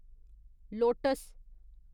lotus